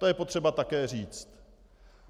To je potřeba také říct.